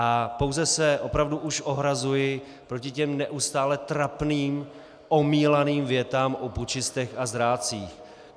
A pouze se opravdu už ohrazuji proti těm neustále trapným omílaným větám o pučistech a zrádcích.